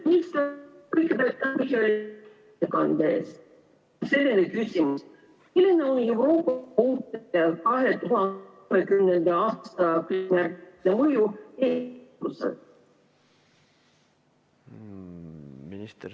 Kas minister sai küsimusest aru?